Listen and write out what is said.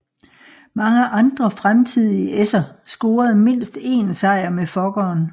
Mange andre fremtidige esser scorede mindst én sejr med Fokkeren